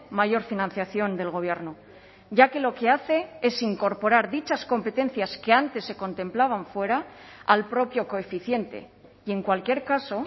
mayor financiación del gobierno ya que lo que hace es incorporar dichas competencias que antes se contemplaban fuera al propio coeficiente y en cualquier caso